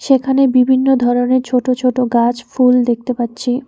এখানে বিভিন্ন ধরনের ছোট ছোট গাছ ফুল দেখতে পাচ্ছি।